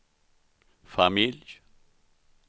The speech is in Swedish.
familj